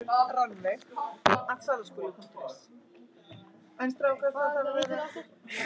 Segir Loga í fjárhagsvanda